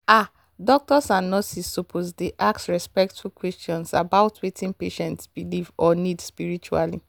ah doctors and nurses suppose dey ask respectful questions about wetin patient believe or need spiritually.